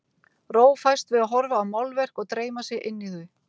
Ró fæst við að horfa á málverk og dreyma sig inn í þau.